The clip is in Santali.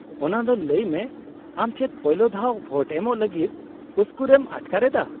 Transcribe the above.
-ᱚᱱᱟ ᱫᱚ ᱞᱟᱹᱭ ᱢᱮ, ᱟᱢ ᱪᱮᱫ ᱯᱳᱭᱞᱳ ᱫᱷᱟᱣ ᱵᱷᱳᱴ ᱮᱢᱚᱜ ᱞᱟᱹᱜᱤᱫ ᱩᱥᱠᱩᱨᱮᱢ ᱟᱴᱠᱟᱨᱮᱫᱟ ?